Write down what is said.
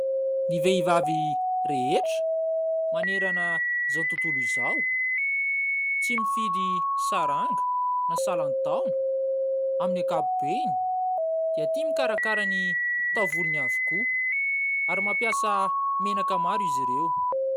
Ny vehivavy rehetra manerana izao tontolo izao, tsy mifidy saranga na salan-taona amin'ny akapobeany dia tia mikarakara ny taovolony avokoa ary mampiasa menaka maro izy ireo.